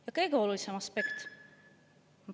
Ja kõige olulisem aspekt …